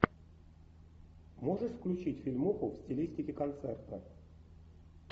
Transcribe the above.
можешь включить фильмуху в стилистике концерта